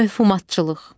Mövhumatçılıq.